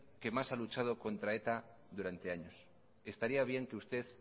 que más ha luchado contra eta durante años estaría bien que usted